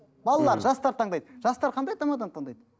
балалары жастар таңдайды жастар қандай тамаданы таңдайды